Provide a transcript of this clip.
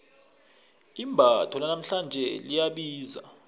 imbatho lanamhlanje liyabiza